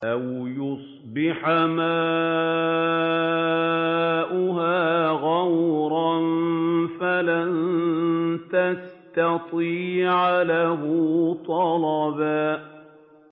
أَوْ يُصْبِحَ مَاؤُهَا غَوْرًا فَلَن تَسْتَطِيعَ لَهُ طَلَبًا